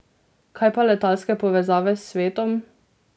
Kaj pa letalske povezave s svetom?